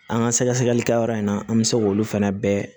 An ka sɛgɛsɛgɛli kɛyɔrɔ in na an bɛ se k'olu fana bɛɛ